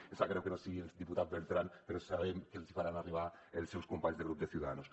em sap greu que no hi sigui el diputat bertran però sabem que l’hi faran arribar els seus companys del grup de ciudadanos